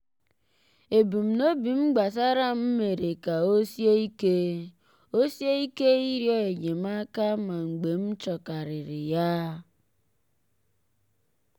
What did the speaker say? ebumnobi m gbasara m mere ka o sie ike o sie ike ịrịọ enyemaka ma mgbe m chọrọkarịrị ya.